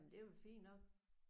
Jamen det er vel fint nok?